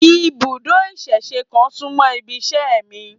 Ibùdó ìsẹ̀se kan súmọ́ ibiṣẹ́ mi